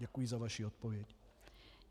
Děkuji za vaši odpověď.